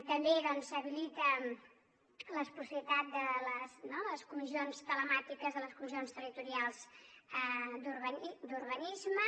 també s’habilita la possibilitat de les comissions telemàtiques de les comissions territorials d’urbanisme